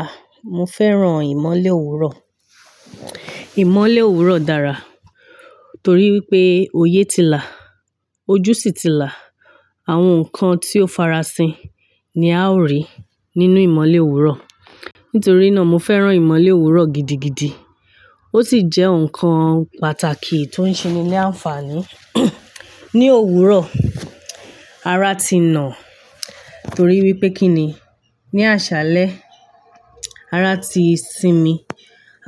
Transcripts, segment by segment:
A! Mo fẹ́ràn ìmọ́lẹ̀ òwúrọ̀. Ìmọ́lẹ̀ òwúrọ̀ dára torí wípé oyé ti là, ojú sì ti là, àwọn ǹkan tí ó fara sin ni a ó rí nínú ìmọ́lẹ̀ òwúrọ̀. Nítorí náà mo fẹ́ràn ìmọ́lẹ̀ òwúrọ̀ gidigidi. Ó sì jẹ́ ǹkan pàtàkì tó ń ṣe ni ní àǹfààní. Ní òwúrọ̀, ara ti nà torí wípé kí ni? Ni àṣálẹ́ ara ti sinmi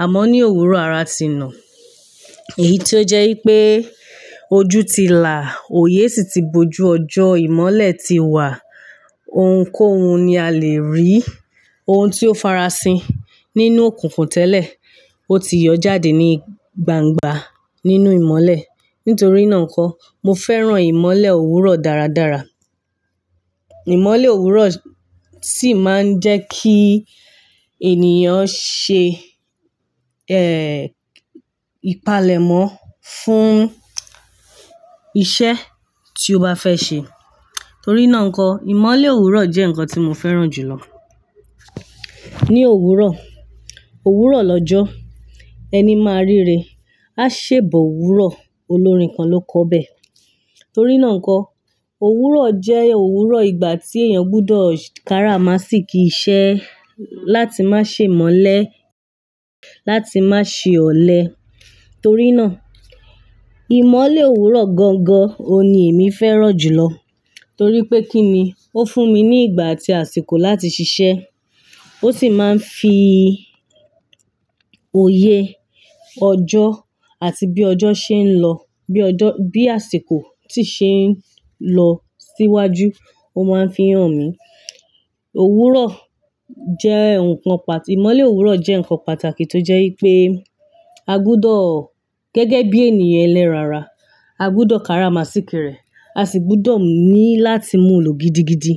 àmọ́ ní òwúrọ̀ ara ti nà. Èyí tó jẹ́ wípé ojú ti là, oyé sì ti boju ọjọ́, ìmọ́lẹ̀ ti wà, ohunkóhun ni a lè rí, ohun tí ó fara sin nínú òkùnkùn tẹ́lẹ̀, ó ti yọ jáde ní gbangba nínú ìmọ́lẹ̀. Nítorí náà nkó, mo fẹ́ràn ìmọ́lẹ̀ òwúrọ̀ dáradára. Ìmọ́lẹ̀ òwúrọ̀ sì máa ń jẹ́ kí ènìyàn ṣe, ẹ́ẹ̀, ìpalẹ̀mọ́ fún iṣẹ́ tí o bá fẹ́ ṣe. Torí náà nkó, ìmọ́lẹ̀ òwúrọ̀ jẹ́ ǹkan tí mo fẹ́ràn jù lọ. Ní òwúrọ̀, òwúrọ̀ lọ́jọ́, ẹni máa rire, a ṣè ba òwúrọ̀, olórin kan ló kọ bẹ́. Torí náà n kó, òwúrọ̀ jẹ́ òwúrọ̀ ìgbà tí èèyàn gbudọ̀ kára má sì kí iṣẹ́ láti má ṣe imelẹ̀, láti má ṣe ọ̀lẹ. Torí náà, ìmọ́lẹ̀ òwúrọ̀ gangan ni èmi fẹ́ràn jù lọ. Torí pé kí ni? Ó fún mi ní ìgbà àti àsìkò láti ṣiṣẹ́, ó sì máa ń fi oyé ọjọ́ àti bí ọjọ́ ṣe ń lọ, bí ọjọ́, bí àsìkò tí ṣe ń lọ síwájú, ó máa ń fi hàn mí. Òwúrọ̀ jẹ́ ǹkan pàtà-- ìmọ́lẹ̀ òwúrọ̀ jẹ́ ǹkan pàtàkì tó jẹ́ wípé a gbudọ̀ gẹ́gẹ́ bí ènìyàn ẹlẹ́ran ara, a gbudọ̀ kára má sìki rè, a sì gbọdọ̀ ní láti mú lo gidigidi.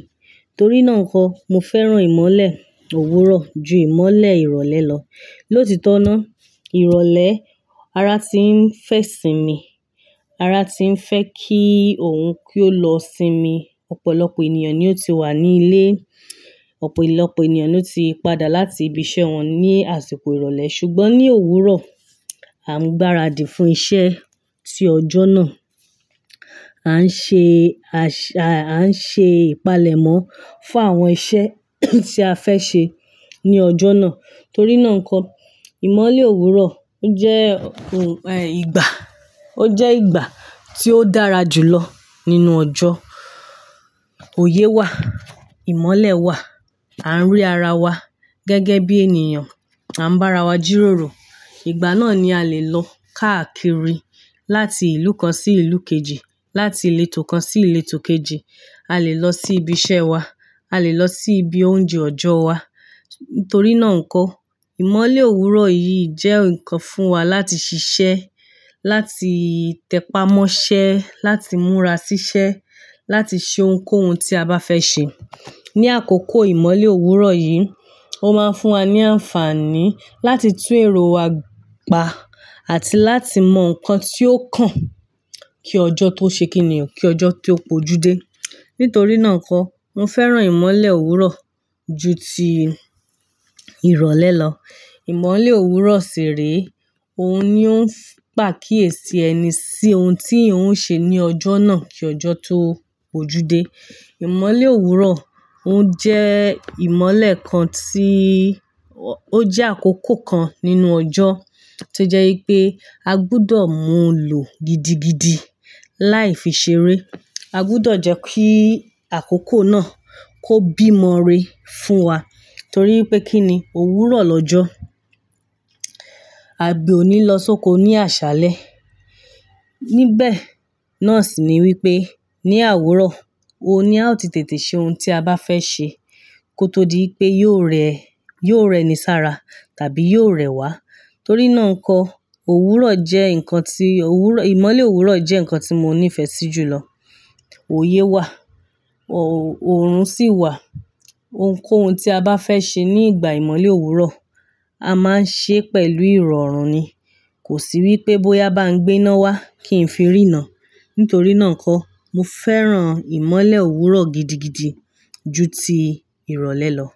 Torí náà kó, mo fẹ́ràn ìmọ́lẹ̀ òwúrọ̀ ju ìmọ́lẹ̀ ìrọ̀lẹ́ lọ. Lóòtítọ́ náà, ìrọ̀lẹ́ ara ti ń fẹ́ sinmi, ara ti ń fẹ́ kí òun kí ó lọ sinmi. Ọ̀pọ̀lọpọ̀ ènìyàn ni ó ti wà ní ilé, ọ̀pọ̀lọpọ̀ ènìyàn ni ó ti padà láti ibi iṣẹ́ wọn ní àsìkò ìrọ̀lẹ́ ṣùgbọ́n ní òwúrọ̀, a ń gbára dì fún iṣẹ́ tí ọjọ́ náà. A ń ṣe àṣá, a ń ṣe ìpalẹ̀mọ́ fún àwọn iṣẹ́ tí a fẹ́ ṣe ní ọjọ́ náà. Torí náà nkó, ìmọ́lẹ̀ òwúrọ̀ o jẹ́, ìgbà, ó jẹ́ ìgbà tí ó dára jù lọ nínú ọjọ́. Oyé wà, ìmọ́lẹ̀ wà, à ń rí ara wa gẹ́gẹ́ bí ènìyàn, à ń bá ara wa jíròrò. Ìgbà náà ni a lè lọ káàkiri láti ìlú kan sí ìlú kejì, láti ìletò kan sí ìletò kejì, a lè lọ sí ibi iṣẹ́ wa, a lè lọ sí ibi oúnjẹ ọjọ́ wa. Torí náà kó, ìmọ́lẹ̀ òwúrọ̀ yìí jẹ́ ǹkan fún wa láti ṣiṣẹ́, láti tẹpamọ́ṣẹ́, láti múra síṣẹ́, láti ṣe ohunkóhun tí a bá fẹ́ ṣe. Ni àkókò ìmọ́lẹ̀ òwúrọ̀ yìí, ó máa ń fún wa ní àǹfààní láti tún èrò wa pa àti láti mọ nǹkan tí ó kàn kí ọjọ́ tó ṣe kí o, kí ọjọ́ tó póju dé. Nítorí náà n kó, mo fẹ́ràn ìmọ́lẹ̀ òwúrọ̀ ju ti ìrọ̀lẹ́ lọ. Ìmọ́lẹ̀ òwúrọ̀ ṣì re, òun ni ó ń pa kíyèsi ẹni sí ohun tí yan ò ṣe ní ọjọ́ náà kí ọjọ́ tó póju dé. Ìmọ́lẹ̀ òwúrọ̀ ó jẹ́ ìmọ́lẹ̀ kan tí ó jẹ́ àkókò kan nínú ọjọ́ tí ó jẹ́ wípé a gbudọ̀ mú lo gidigidi láì fi ṣeré. A gbudọ̀ jẹ́ kí àkókò náà kó bímọ re fún wa torí wípé kí ni? Òwúrọ̀ lọ́jọ́, àbí òní lọ sóko ní àṣálẹ́. Nibẹ̀ náà sì ni wípé ní àwúrọ̀, òun ni a ti tètè ṣe ohun tí a bá fẹ́ ṣe kó tó di wipé yóò rẹ, yóò rẹ ní sára tàbí yóò rẹ wá. Torí náà nkó, òwúrọ̀ jẹ́ ǹkan tí, òwúrọ̀, ìmọ́lẹ̀ òwúrọ̀ jẹ́ ǹkan tí mo ní ìfẹ́ sí jù lọ. Oyé wà, òòrùn sì wà, ohunkóhun tí a bá fẹ́ ṣe ní ìgbà ìmọ́lẹ̀ òwúrọ̀, a máa ń ṣe pẹ̀lú ìrọ̀rùn ni. Kò sí wípé bóyá bá ń gbe náà wá kì í fi rínà. Nítorí náà kó, mo fẹ́ràn ìmọ́lẹ̀ òwúrọ̀ gidigidi ju ti ìrọ̀lẹ́ lọ.